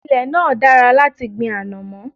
Ilẹ̀ náà dára láti gbin ànọ̀mó.